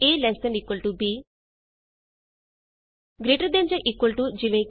a lt b greater than ਜਾਂ equal to easy